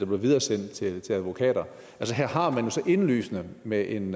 blev videresendt til advokater altså her har man jo så indlysende med en